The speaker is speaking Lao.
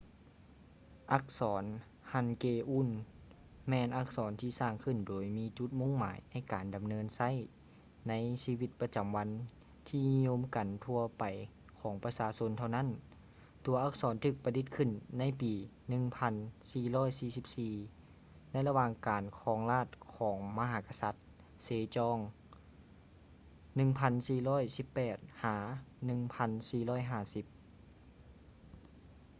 ອັກສອນ ຮັນເກອູນ hangeul ແມ່ນອັກສອນທີ່ສ້າງຂຶ້ນໂດຍມີຈຸດມຸ່ງໝາຍໃນການນຳໃຊ້ໃນຊີວິດປະຈຳວັນທີ່ນິຍົມກັນທົ່ວໄປຂອງປະຊາຊົນເທົ່ານັ້ນ. ຕົວອັກສອນຖືກປະດິດຂຶ້ນໃນປີ 1444 ໃນລະຫວ່າງການຄອງລາດຂອງມະຫາກະສັດ ເຊຈອງ 1418 - 1450